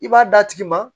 I b'a d'a tigi ma